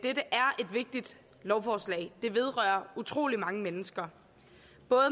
vigtigt lovforslag der vedrører utrolig mange mennesker